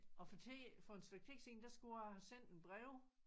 Og for tiden for en stykke tid siden der skulle jeg have sendt en brev